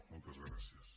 moltes gràcies